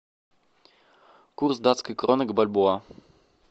курс датской кроны к бальбоа